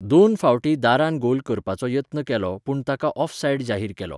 दोन फावटीं दारान गोल करपाचो यत्न केलो पूण ताका ऑफसाइड जाहीर केलो.